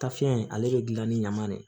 Tafiɲɛ in ale be gilan ni ɲaman de ye